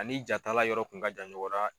Ani jatala yɔrɔ kun ka jan ɲɔgɔn na.